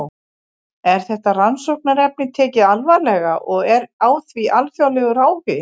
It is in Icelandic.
Er þetta rannsóknarefni tekið alvarlega og er á því alþjóðlegur áhugi?